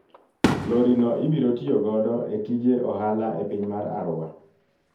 Lori no ibiro tiyo godo e tije ohala e piny mar Arua.